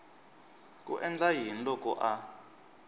ku endla yini loko a